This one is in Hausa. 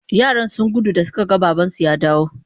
Yaran sun gudu da suka ga babansu ya dawo.